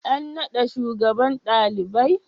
An naɗa shugaban ɗalibai?